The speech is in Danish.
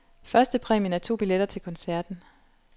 Første præmien er to billetter til koncerten.